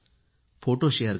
photo share करा